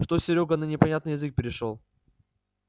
что серёга на непонятный язык перешёл